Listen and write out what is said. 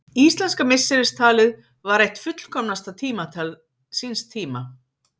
Íslenska misseristalið var eitt fullkomnasta tímatal síns tíma.